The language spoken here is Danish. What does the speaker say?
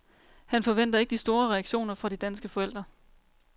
Han forventer ikke de store reaktioner fra de danske forældre.